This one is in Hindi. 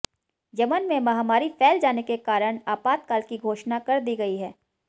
यमन में महामारी फैल जाने के कारण अपातकाल की घोषणा कर दी गई है